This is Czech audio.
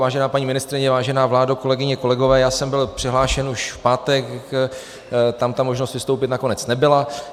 Vážená paní ministryně, vážená vládo, kolegyně, kolegové, já jsem byl přihlášen už v pátek, tam ta možnost vystoupit nakonec nebyla.